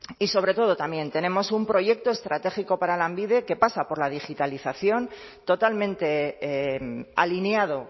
y sobre todo también tenemos un proyecto estratégico para lanbide que pasa por la digitalización totalmente alineado